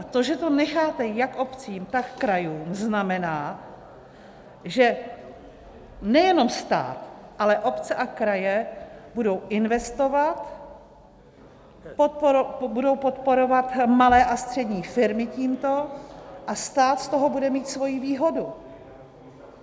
A to, že to necháte jak obcím, tak krajům, znamená, že nejenom stát, ale obce a kraje budou investovat, budou podporovat malé a střední firmy tímto a stát z toho bude mít svoji výhodu.